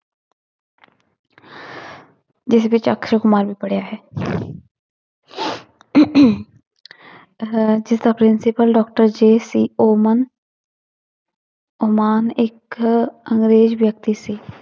ਜਿਸ ਵਿੱਚ ਅਕਸੈ ਕੁਮਾਰ ਵੀ ਪੜ੍ਹਿਆ ਹੈ ਅਹ ਜਿਸਦਾ principal doctor JC Oman Oman ਇੱਕ ਅੰਗਰੇਜ਼ ਵਿਅਕਤੀ ਸੀ